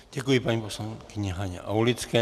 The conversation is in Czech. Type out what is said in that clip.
Děkuji paní poslankyni Haně Aulické.